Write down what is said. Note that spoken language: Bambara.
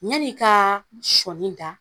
ya ni ka sɔɔni da